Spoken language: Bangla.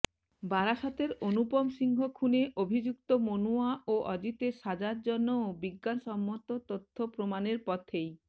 বারাসতের অনুপম সিংহ খুনে অভিযুক্ত মনুয়া ও অজিতের সাজার জন্যও বিজ্ঞানসম্মত তথ্য প্রমাণের পথেই